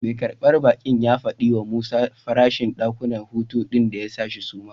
Mai karbar baki ya fadi wa Musa farashin dakunan hutu din da ya sa shi suma.